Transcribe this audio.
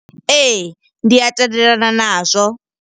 Ee, ndi a tendelelana na zwo.